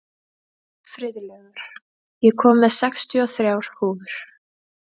Friðlaugur, ég kom með sextíu og þrjár húfur!